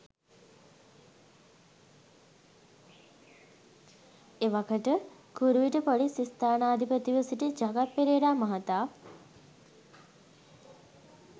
එවකට කුරුවිට ‍පොලිස් ස්ථානාධිපතිව සිටි ජගත් පෙරේරා මහතා